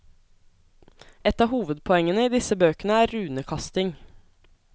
Et av hovedpoengene i disse bøkene er runekasting.